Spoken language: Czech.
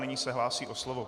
Nyní se hlásí o slovo.